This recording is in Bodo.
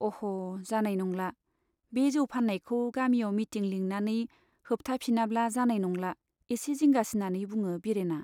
अह' जानाय नंला , बे जौ फान्नायखौ गामियाव मिटिं लिंनानै होबथाफिनाब्ला जानाय नंला। एसे जिंगासिनानै बुङो बिरेना